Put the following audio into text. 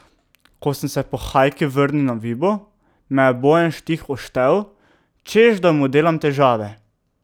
Ko sem se po Hajki vrnil na Vibo, me je Bojan Štih oštel, češ da mu delam težave.